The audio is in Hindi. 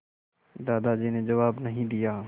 दादाजी ने जवाब नहीं दिया